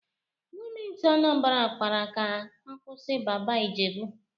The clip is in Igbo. Gọọmentị Anambra kpara ka a kwụsị Baba Ijebu.